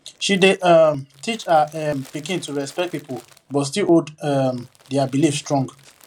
she dey um teach her um pikin to respect people but still hold um their belief strong